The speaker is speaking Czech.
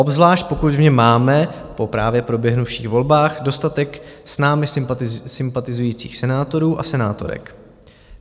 Obzvlášť pokud v něm máme po právě proběhnuvších volbách dostatek s námi sympatizujících senátorů a senátorek.